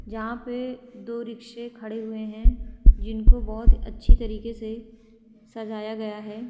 जहाँ पे दो रिक्शे खड़े हुए हैं जिनको बहोत अच्छी तरीके से सजाया गया है।